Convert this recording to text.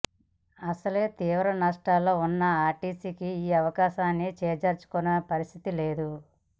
అసలే తీవ్ర నష్టాల్లో ఉన్న ఆర్టీసీకి ఈ అవకాశాన్ని చేజార్చుకునే పరిస్థితి లేదు